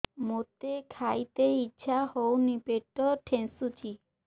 ମୋତେ ଖାଇତେ ଇଚ୍ଛା ହଉନି ପେଟ ଠେସୁଛି